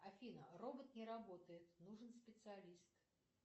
афина робот не работает нужен специалист